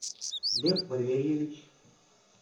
лев валерьевич